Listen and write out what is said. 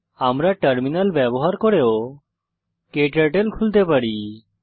আমরা টার্মিনাল ব্যবহার করেও ক্টার্টল খুলতে পারি